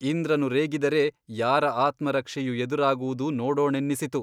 ಇಂದ್ರನು ರೇಗಿದರೆ ಯಾರ ಆತ್ಮರಕ್ಷೆಯು ಎದುರಾಗುವುದು ನೋಡೋಣೆನ್ನಿಸಿತು.